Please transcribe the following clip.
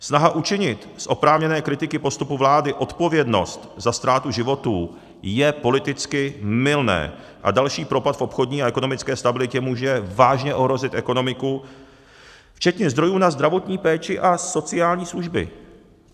Snaha učinit z oprávněné kritiky postupu vlády odpovědnost za ztrátu životů je politicky mylná a další propad v obchodní a ekonomické stabilitě může vážně ohrozit ekonomiku včetně zdrojů na zdravotní péči a sociální služby.